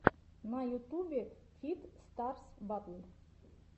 на ютубе фит старс батл